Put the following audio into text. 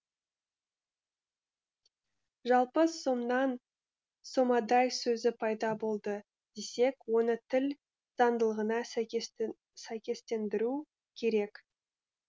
жалпы сомнан сомадай сөзі пайда болды десек оны тіл заңдылығына сәйкестендіру керек